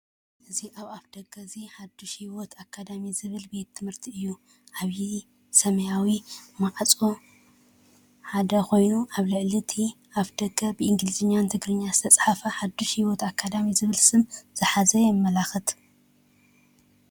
እዚ ኣፍ ደገ እዚ ሓድሽ ህይወት ኣካዳሚ ዝብሃል ቤት ትምህርቲ እዩ። ዓብዪ ሰማያዊ ማዕጾ ሓጺንኮይኑ ኣብ ልዕሊ እቲ ኣፍ ደገ ብእንግሊዝኛን ትግርኛን ዝተጻሕፈ ሓድሽ ህይወት ኣካዳሚ ዝብል ስም ዝሓዘ የምልክት።